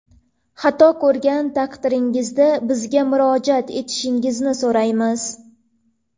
Xato ko‘rgan taqdiringizda bizga murojaat etishingizni so‘raymiz.